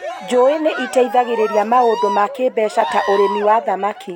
njũũĩ nĩ ĩteithagĩrĩria maũndũ ma kĩĩmbeca ta urĩmĩ wa thamakĩ.